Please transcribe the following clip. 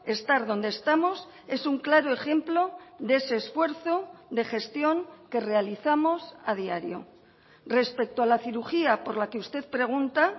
estar donde estamos es un claro ejemplo de ese esfuerzo de gestión que realizamos a diario respecto a la cirugía por la que usted pregunta